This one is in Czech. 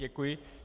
Děkuji.